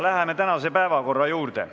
Läheme tänase päevakorra juurde.